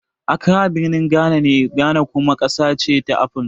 Accra birnin Ghana ne, Ghana kuma ƙasa ce na Afirka.